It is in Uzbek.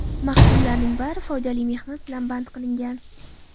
Mahkumlarning bari foydali mehnat bilan band qilingan.